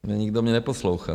Nikdo mě neposlouchá.